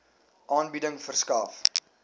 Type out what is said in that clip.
aanbieding verskaf